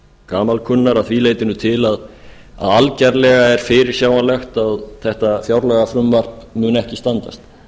gamalkunnar að því leytinu til að algerlega er fyrirsjáanlegt að þetta fjárlagafrumvarp mun ekki standast